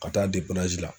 Ka taa la